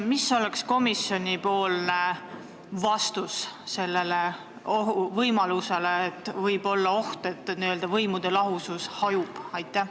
Mis oleks komisjoni vastus sellele väitele, et võib olla oht, et n-ö võimude lahusus hajub?